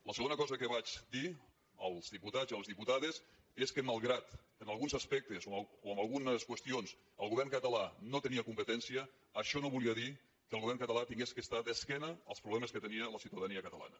la segona que vaig dir als diputats i a les diputades és que malgrat que en alguns aspectes o en algunes qüestions el govern català no tenia competència això no volia dir que el govern català hagués d’estar d’esquena als problemes que tenia la ciutadania catalana